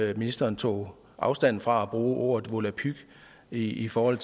at ministeren tog afstand fra at ordet volapyk i forhold